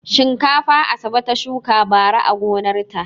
Shinkafa Asabe ta shuka bara a gonarta.